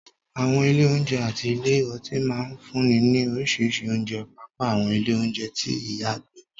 Àwọn ilé oúnjẹ àti ilé ọtí máa ń fúnni ní oríṣiríṣi oúnjẹ, pàápàá àwọn ilé oúnjẹ tí ìyá ń gbé